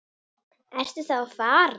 Ertu þá að fara?